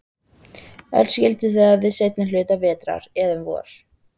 Öll skildu þau við seinni hluta vetrar, eða um vor.